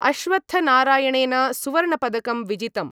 अश्वत्थनारायणेन सुवर्णपदकं विजितम्।